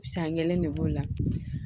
San kelen ne b'o la